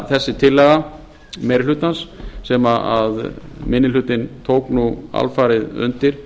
þessi tillaga meiri hlutans sem minni hlotið tók alfarið undir